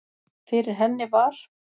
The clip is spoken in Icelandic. Fyrir henni var